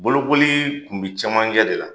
Bolokoli tun bɛ camanjɛ de la.